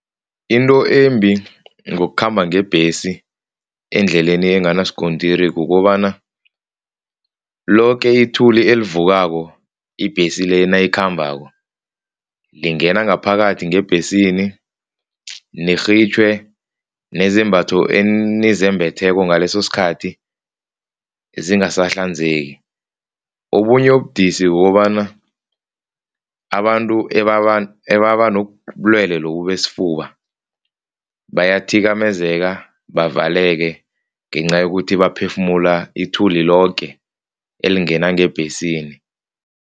Into embi ngokukhamba ngebhesi endleleni enganasikontiri kukobana loke ithuli elivukako ibhesi le nayikhambako, lingena ngaphakathi ngebhesini, nirhitjhwe nezembatho enizembetheko ngalesosikhathi zingasahlanzeki. Obunye ubudisi kukobana abantu ebanobulelwe lobu besifuba bayathikamezeka, bavaleke ngenca yokuthi baphefumula ithuli loke elingena ngebhesini.